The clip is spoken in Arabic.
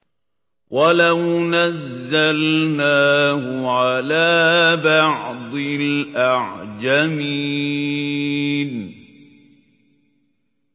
وَلَوْ نَزَّلْنَاهُ عَلَىٰ بَعْضِ الْأَعْجَمِينَ